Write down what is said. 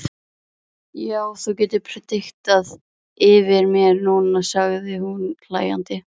Já, þú getur prédikað yfir mér núna, sagði hún hlæjandi.